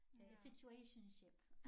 Øh situationship